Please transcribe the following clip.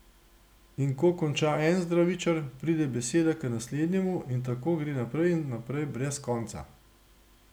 In ko konča en zdravičar, preide beseda k naslednjemu in tako gre naprej in naprej brez konca.